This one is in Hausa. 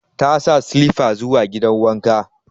Ta sa silifa zuwa gidan wanka.